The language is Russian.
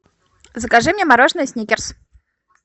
закажи мне мороженое сникерс